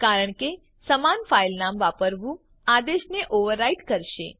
કારણ કે સમાન ફાઈલ નામ વાપરવું આદેશને ઓવર રાઈટ કરશે